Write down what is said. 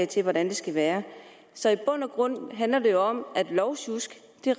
til hvordan det skal være så i bund og grund handler det jo om at lovsjusk